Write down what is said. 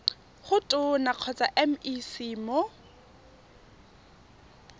go tona kgotsa mec mo